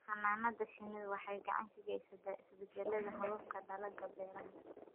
Xannaanada shinnidu waxay gacan ka geysataa isbeddelada hababka dalagga beeraha.